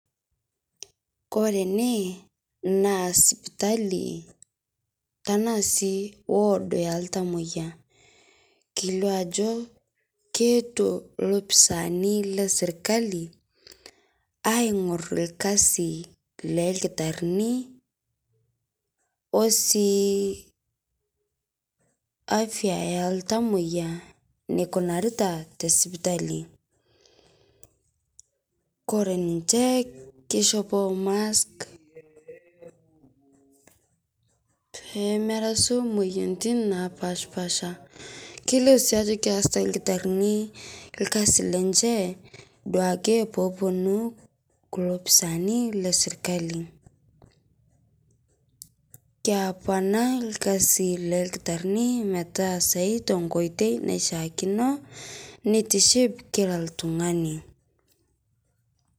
Koree ene na sipitali tana si ward oltamoyia kelio ajo eetuo lafisaani leserkali aingoru esiai oldakitari osii afya oltamoyia nikunarita tesipitali koree ninche kishopoo mask metaai moyiaritin napaasha irkasi lenche duake peponu lafisani leserkali keponaa orkasin ildakitari peas esiai anaishaakino nitishipil kila oltungani